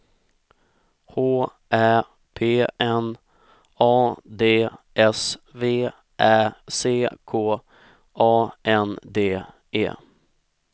H Ä P N A D S V Ä C K A N D E